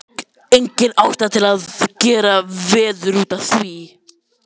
Engin ástæða til að gera veður út af því.